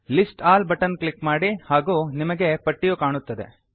list all button click ಮಾಡಿ ಹಾಗೂ ನಿಮಗೆ ಪಟ್ಟಿಯು ಕಾಣುತ್ತದೆ